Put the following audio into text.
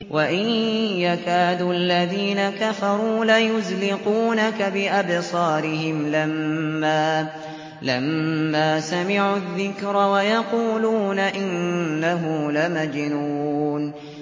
وَإِن يَكَادُ الَّذِينَ كَفَرُوا لَيُزْلِقُونَكَ بِأَبْصَارِهِمْ لَمَّا سَمِعُوا الذِّكْرَ وَيَقُولُونَ إِنَّهُ لَمَجْنُونٌ